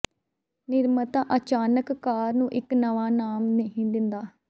ਨਿਰਮਾਤਾ ਅਚਾਨਕ ਕਾਰ ਨੂੰ ਇੱਕ ਨਵਾਂ ਨਾਮ ਨਹੀਂ ਦਿੰਦਾ